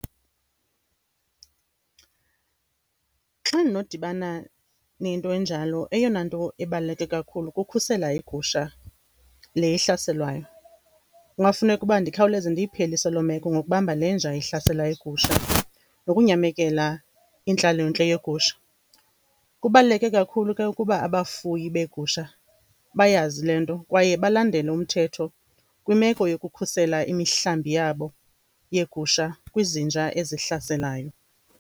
Xa ndinodibana nento enjalo, eyona nto ebaluleke kakhulu kukhusela igusha le ihlaselwayo. Kungafuneka uba ndikhawuleze ndiyiphelise loo meko ngokubamba le nja ihlasela igusha, nokunyamekela intlalontle yegusha. Kubaluleke kakhulu ke ukuba abafuyi beegusha bayazi le nto, kwaye balandele umthetho kwimeko yokukhusela imihlambi yabo yeegusha kwizinja ezihlaselayo.